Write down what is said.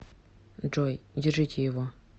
джой держите его